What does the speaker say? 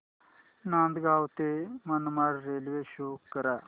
नांदगाव ते Manmad railway show करा